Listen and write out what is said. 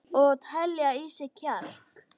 Og telja í sig kjark.